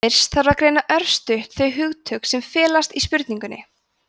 fyrst þarf að greina örstutt þau hugtök sem felast í spurningunni